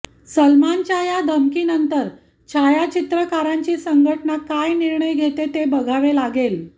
सलमानच्या या धमकीनंतर छायाचित्रकारांची संघटना काय निर्णय घेते ते बघावे लागेल